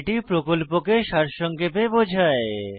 এটি প্রকল্পকে সারসংক্ষেপে বোঝায়